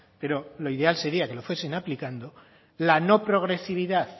pero lo ideal sería que lo fuesen aplicando la no progresividad